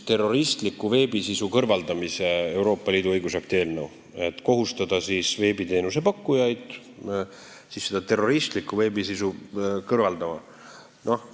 Tegu on Euroopa Liidu õigusakti eelnõuga, millega tahetakse kohustada veebiteenuse pakkujaid kõrvaldama terroristlikku veebisisu.